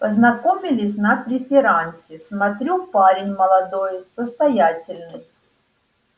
познакомились на преферансе смотрю парень молодой состоятельный